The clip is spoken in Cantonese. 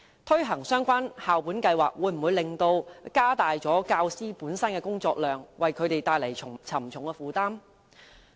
推行相關校本計劃會否加大教師的工作量，為他們帶來沉重的負擔呢？